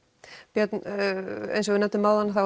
björn eins og við nefndum áðan þá